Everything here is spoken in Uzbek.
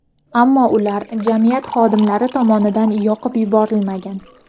Ammo ular jamiyat xodimlari tomonidan yoqib yuborilmagan.